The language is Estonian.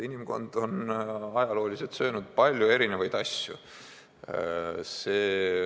Inimkond on ajalooliselt söönud palju erinevaid asju.